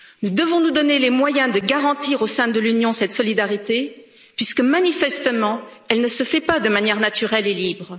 Nous devons nous donner les moyens de garantir, au sein de l'Union, cette solidarité puisque manifestement, elle ne se fait pas de manière naturelle et libre.